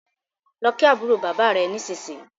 lọ kí àbúrò bàbá rẹ nisinyi!